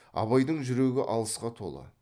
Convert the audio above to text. абайдың жүрегі алғысқа толы